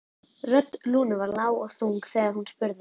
Rödd Lúnu var lág og þung þegar hún spurði